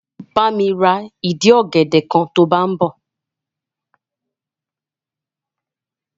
Bá mi ra ìdì ọ̀gẹ̀dẹ̀ kan to bá ń bọ̀.